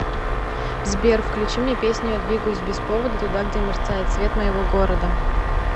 сбер включи мне песню я двигаюсь без повода туда где мерцает свет моего города